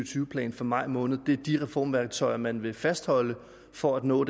tyve plan fra maj måned er de reformværktøjer man vil fastholde for at nå